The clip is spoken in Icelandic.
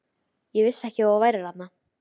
Ég vissi ekki að þú værir þarna.